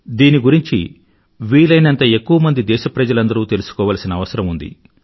దీని గురించి వీలయినంత ఎక్కువమంది దేశప్రజలందరూ తెలుసుకోవలసిన అవసరం ఉంది